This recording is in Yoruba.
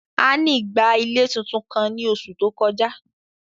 Anny gba ile titun kan ni oṣu to koja.